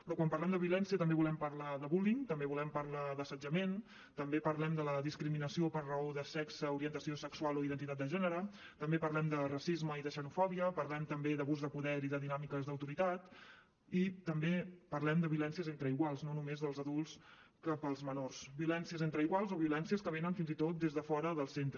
però quan parlem de violència també volem parlar de per raó de sexe orientació sexual o identitat de gènere també parlem de racisme i de xenofòbia parlem també d’abús de poder i de dinàmiques d’autoritat i també parlem de violències entre iguals no només dels adults cap als menors violències entre iguals o violències que venen fins i tot des de fora del centre